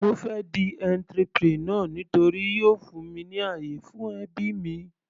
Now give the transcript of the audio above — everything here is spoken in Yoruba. Mo fẹ́ di entrepreneur nítorí yóò fún mi ní àyè fún ẹbí mi.